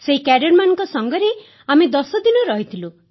ସେହି କ୍ୟାଡେଟମାନଙ୍କ ସାଙ୍ଗରେ ଆମେ 10 ଦିନ ରହିଥିଲୁ